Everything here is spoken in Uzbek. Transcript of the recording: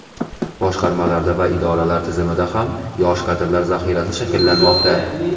boshqarmalarda va idoralar tizimida ham yosh kadrlar zaxirasi shakllanmoqda.